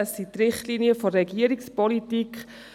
Es sind die Richtlinien der Regierungspolitik.